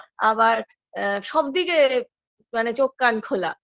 আবার সব আ দিকে মানে চোখ কান খোলা